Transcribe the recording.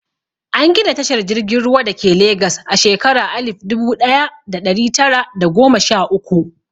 An gina tashar jirgin ruwa dake Legas a shekara alif dubu ɗaya da ɗari tara da goma sha uku.